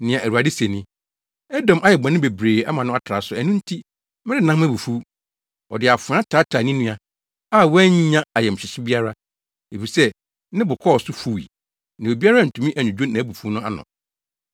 Nea Awurade se ni: “Edom ayɛ bɔne bebree ama no atra so, ɛno nti, merennan mʼabufuw. Ɔde afoa taataa ne nua, a wannya ayamhyehye biara. Efisɛ ne bo kɔɔ so fuwii, na obiara antumi annwudwo nʼabufuw no ano.